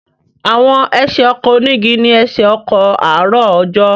Àwọn ẹsẹ̀ ọkọ̀ onígi ni ẹsẹ̀ ọkọ̀ àárọ̀ ọjọ́.